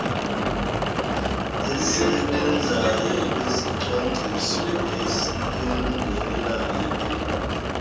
esebenzayo esicwangciso esiyondeleleneyo